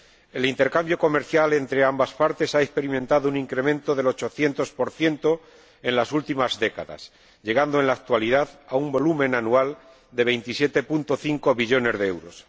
El intercambio comercial entre ambas partes ha experimentado un incremento del 800 en las últimas décadas, llegando en la actualidad a un volumen anual de 27,5 billones de euros.